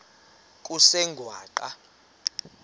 kusengwaqa